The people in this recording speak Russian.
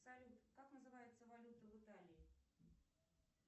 салют как называется валюта в италии